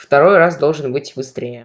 второй раз должен быть быстрее